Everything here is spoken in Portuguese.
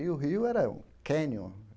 E o rio era um cânion.